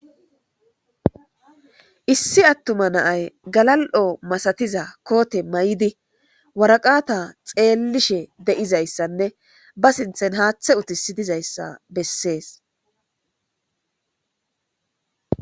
Issi attuma na'ay galal'o masatiza koote mayidi waraqata xeellishe de'izayssanne ba sinthen haaththe utisi dizayssa bessees.